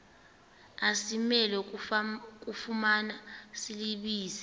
asimelwe kufumana silibize